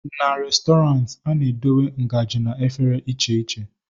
na Restọrantị, a na-edobe ngaji na efere iche iche